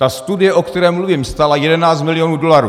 Ta studie, o které mluvím, stála 11 milionů dolarů.